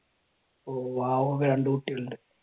ഓ രണ്ടു കുട്ടികൾ ഉണ്ട്.